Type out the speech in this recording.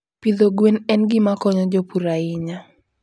Pidho gwen en gima konyo jopur ahinya.